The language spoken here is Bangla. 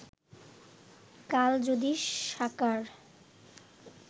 কাল যদি সাকার